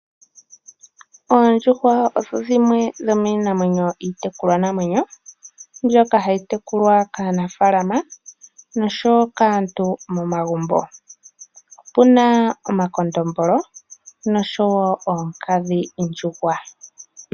Oondjuhwa odho dhimwe dhomiinamwenyo iitekulwanamwenyo mbyoka hayi tekulwa kaanafalaama noshowo kaantu momagumbo. Opu na omakondombolo noshowo oonkadhindjuhwa.